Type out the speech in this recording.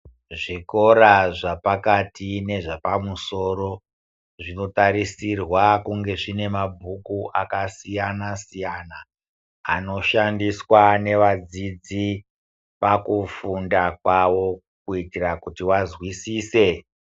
Zvikora zvapakati nezvapamusoro zvinoarisirwa kunge zvine mabhuku akasiyana siyana anoshandiswa nevadzidzi pakufundwa kwavo kuitira kutivanzwisise.